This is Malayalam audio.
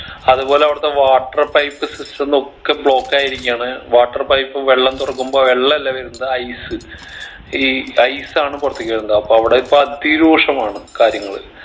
അത്പോലെ അവിടത്തെ water pipe system ഒക്കെ block ആയിരിക്കാണ് water pipe വെള്ളം തുറക്കുമ്പോ വെള്ളം അല്ല വരുന്നത് ice ഈ ice ആണ് പുറത്തേക്ക് വരുന്നത് അപ്പൊ അവിടെ ഇപ്പൊ അതിരൂക്ഷമാണ് കാര്യങ്ങള്